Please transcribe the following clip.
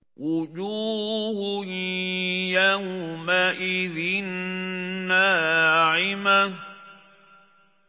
وُجُوهٌ يَوْمَئِذٍ نَّاعِمَةٌ